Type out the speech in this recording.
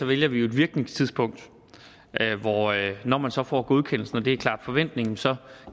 vælger vi jo et virkningstidspunkt hvor det er at når man så får godkendelsen og det er klart forventningen så